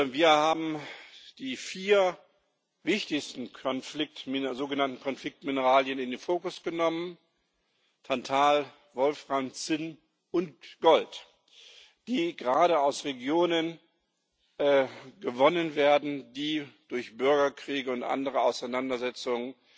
Wir haben die vier wichtigsten sogenannten Konfliktmineralien in den Fokus genommen Tantal, Wolfram, Zinn und Gold die gerade in Regionen gewonnen werden, die durch Bürgerkriege und andere Auseinandersetzungen